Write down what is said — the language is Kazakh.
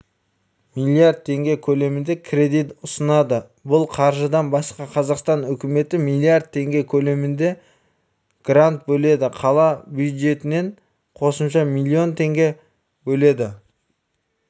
млрд теңге көлемінде кредит ұсынады бұл қаржыдан басқа қазақстан үкіметі млрд теңге көлемінде грант бөледі қала бюджетінен қосымша млн теңге бөлінеді